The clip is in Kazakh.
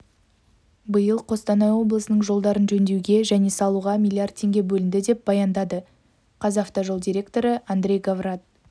биыл қостанай облысының жолдарын жөндеуге және салуға млрд теңге бөлінді деп баяндады қазавтожол директоры андрей говрат